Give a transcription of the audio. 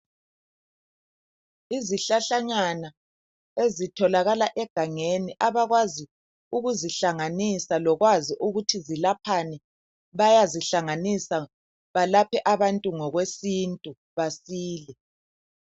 Izihlahlanyana ezitholakala egangeni .Abakwazi ukuzihlanganisa lokwazi ukuthi zilaphani bayazihlanganisa balaphe abantu ngokwesintu basile .